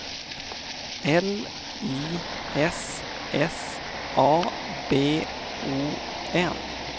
L I S S A B O N